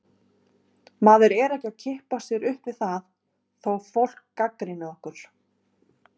Maður er ekki að kippa sér upp við það þó fólk gagnrýni okkur.